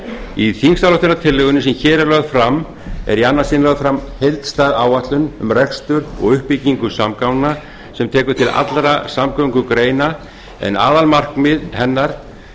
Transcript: í þingsályktunartillögunni sem hér er lögð fram er í annað sinn lögð fram heildstæð áætlun um rekstur og uppbyggingu samgangna sem tekur til allra samgöngugreina en aðalmarkmið hennar